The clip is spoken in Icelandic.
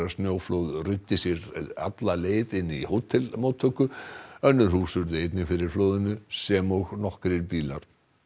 snjóflóð ruddi sér leið alla leið inn í hótelmóttöku önnur hús urðu einnig fyrir flóðinu sem og nokkrir bílar